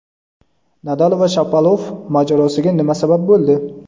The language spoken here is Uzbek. Nadal va Shapovalov mojarosiga nima sabab bo‘ldi?.